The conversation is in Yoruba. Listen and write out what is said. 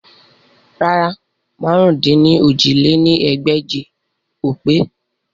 Rárà, màrún-dín-ní-ojì lé ní ẹgbẹ́je o pe